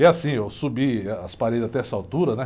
E assim, eu subi ah, as paredes até essa altura, né?